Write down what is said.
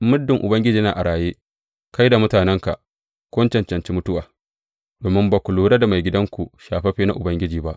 Muddin Ubangiji yana a raye kai da mutanenka kun cancanci mutuwa, domin ba ku lura da maigidanku shafaffe na Ubangiji ba.